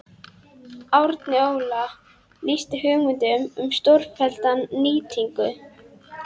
Árni Óla lýsti hugmyndum um stórfellda nýtingu